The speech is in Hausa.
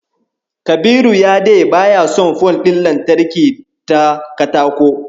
Kabiru ya de baya son fol ɗin lantarki ta katako.